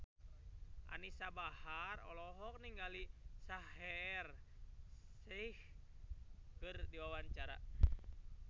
Anisa Bahar olohok ningali Shaheer Sheikh keur diwawancara